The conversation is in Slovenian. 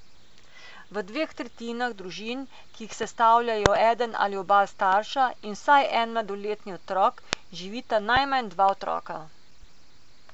V dveh tretjinah družin, ki jih sestavljajo eden ali oba starša in vsaj en mladoletni otrok, živita najmanj dva otroka.